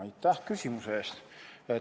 Aitäh küsimuse eest!